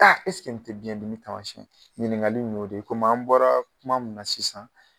nin te biyɛn dimi taamasiyɛn? Ɲiniŋakali y'o de komi an bɔra kuma mun na sisan